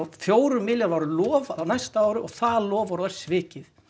fjórum milljörðum var lofað á næsta ári og það loforð var svikið